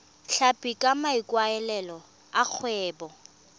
tlhapi ka maikaelelo a kgwebo